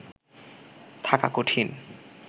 থাকা কঠিন